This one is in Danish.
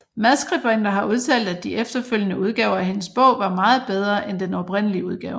Madskribenter har udtalt at de efterfølgende udgaver af hende bog var meget bedre end den oprindelige udgave